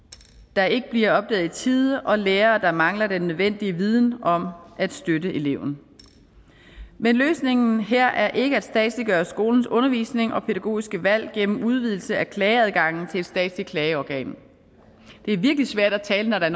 der ikke bliver opdaget i tide og lærere der mangler den nødvendige viden om at støtte eleven men løsningen her er ikke at statsliggøre skolens undervisning og pædagogiske valg gennem udvidelse af klageadgangen til et statsligt klageorgan det er virkelig svært at tale når der